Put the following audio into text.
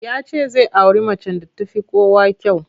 Ya ce zai auri macen da ta fi kowa kyau.